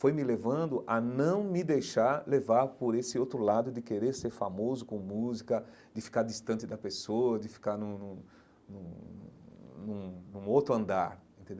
foi me levando a não me deixar levar por esse outro lado de querer ser famoso com música, de ficar distante da pessoa, de ficar num num num num num outro andar entendeu.